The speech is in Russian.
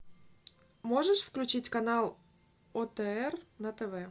можешь включить канал отр на тв